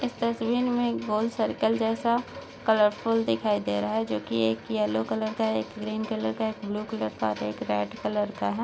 इस तस्वीर मे एक गोल सर्किल जैसा कलरफूल दिखाई दे रहा है जो की एक येल्लो कलर का है एक ग्रीन कलर का एक ब्लू कलर का और एक रेड कलर का है।